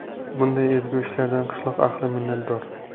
Bunday ezgu ishlardan qishloq ahli minnatdor.